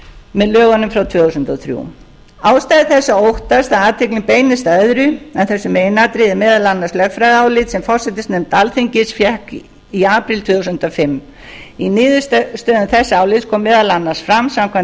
með lögunum frá tvö þúsund og þrjú ástæða þess að óttast að athyglin beinist að öðru en þessu meginatriði er meðal annars lögfræðiálit sem forsætisnefnd alþingis fékk í apríl tvö þúsund og fimm í niðurstöðum þess álits kom meðal annars fram samkvæmt